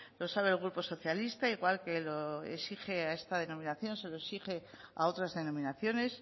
lo sabe el grupo socialista igual que lo exige a esta denominación se lo exige a otras denominaciones